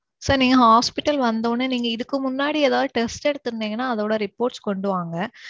sir நீங்க hosptial வந்த உடனே நீங்க இதுக்கு முன்னாடி ஏதாவது test எடுத்து இருந்தீங்கனா அதோட reports கொண்டு வாங்க.